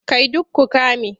Kai duk ku ƙame!